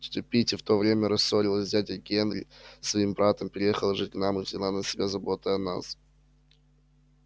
тётя питти в то время рассорилась с дядей генри своим братом переехала жить к нам и взяла на себя заботы о нас